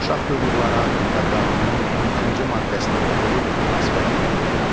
Uşaq hüquqları haqqında qanunun 22-ci maddəsini oxuyub münasibət bildirin.